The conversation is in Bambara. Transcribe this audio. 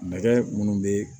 Nɛgɛ minnu bɛ